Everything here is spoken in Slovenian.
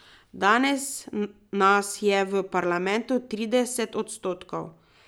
Danes nas je v parlamentu trideset odstotkov.